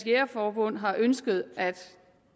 jægerforbund har ønsket at